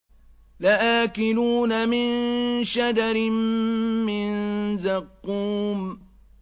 لَآكِلُونَ مِن شَجَرٍ مِّن زَقُّومٍ